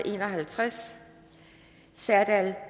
en og halvtreds serdal